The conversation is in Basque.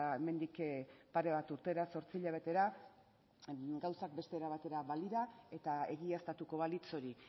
hemendik pare bat urtera zortzi hilabetera gauza beste era batera balira eta egiaztatuko balitz hori